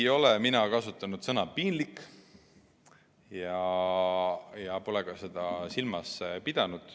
Ei ole mina kasutanud sõna "piinlik" ja pole seda ka silmas pidanud.